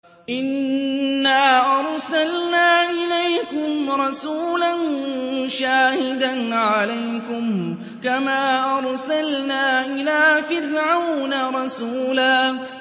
إِنَّا أَرْسَلْنَا إِلَيْكُمْ رَسُولًا شَاهِدًا عَلَيْكُمْ كَمَا أَرْسَلْنَا إِلَىٰ فِرْعَوْنَ رَسُولًا